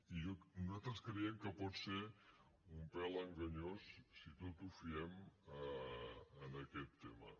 i nosaltres creiem que pot ser un pèl enganyós si tot ho fiem a aquest tema